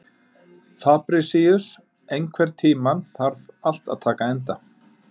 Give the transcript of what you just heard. Fabrisíus, einhvern tímann þarf allt að taka enda.